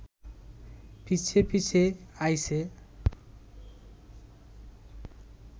পিছে পিছে আইছে